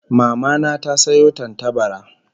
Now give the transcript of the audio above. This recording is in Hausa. Mama na ta sayo tantabara